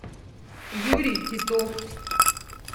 юрий титов